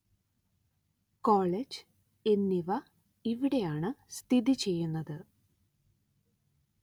college എന്നിവ ഇവിടെയാണ്‌ സ്ഥിതി ചെയ്യുന്നത്